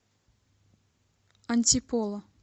антиполо